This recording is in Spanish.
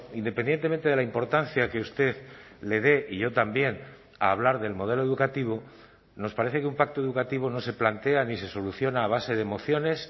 independientemente de la importancia que usted le dé y yo también a hablar del modelo educativo nos parece que un pacto educativo no se plantea ni se soluciona a base de mociones